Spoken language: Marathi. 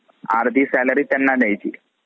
अर्धी salary त्यांना द्यायची.